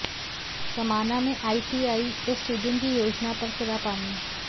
समाना में आईटीआई व स्टेडियम की योजना पर फिरा पानी